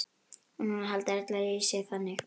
Og núna halda allir að ég sé þaðan.